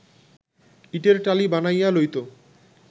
ইটের টালি বানাইয়া লইত